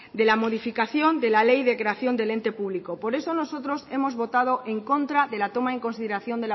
de la modificación de la ley de creación del ente público por eso nosotros hemos votado en contra de la toma en consideración